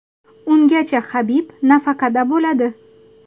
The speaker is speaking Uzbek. Ungacha Habib nafaqada bo‘ladi.